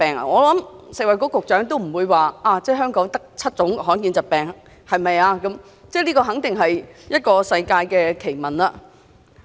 我想食物及衞生局局長也不會認同，香港只有7種罕見疾病，這肯定是世界奇聞。